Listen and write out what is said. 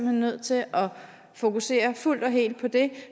er nødt til at fokusere fuldt og helt på det